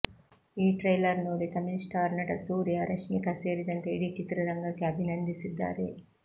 ಈ ಟ್ರೈಲರ್ ನೋಡಿ ತಮಿಳು ಸ್ಟಾರ್ ನಟ ಸೂರ್ಯ ರಶ್ಮಿಕಾ ಸೇರಿದಂತೆ ಇಡೀ ಚಿತ್ರತಂಡಕ್ಕೆ ಅಭಿನಂದಿಸಿದ್ದಾರೆ